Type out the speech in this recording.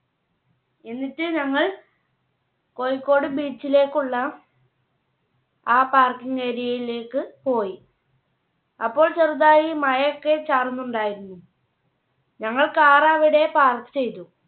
എന്നിട്ട് ഞങ്ങൾ കോഴിക്കോട് Beach ലേക്കുള്ള ആ Parking Area യിലേക്ക് പോയി. അപ്പോൾ ചെറുതായി മഴയൊക്കെ ചാറുന്നുണ്ടായിരുന്നു. ഞങ്ങൾ Car അവിടെ Park ചെയ്തു.